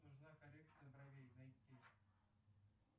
нужна коррекция бровей найти